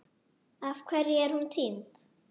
Af hverju er hún týnd?